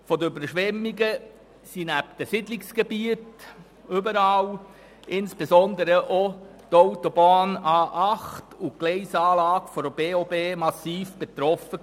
Von den Überschwemmungen waren nebst den Siedlungsgebieten insbesondere auch die Autobahn A8 und die Gleisanlage der Berner Oberland-Bahn (BOB) massiv betroffen.